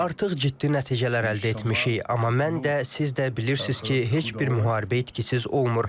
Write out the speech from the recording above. Artıq ciddi nəticələr əldə etmişik, amma mən də, siz də bilirsiz ki, heç bir müharibə itkisiz olmur.